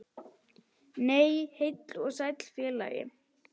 Nei, heill og sæll félagi!